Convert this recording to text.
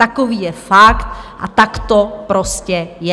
Takový je fakt a tak to prostě je.